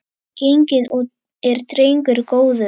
Genginn er drengur góður.